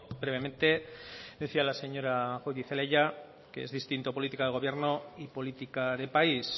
brevemente decía la señora goirizelaia que es distinto política de gobierno y política de país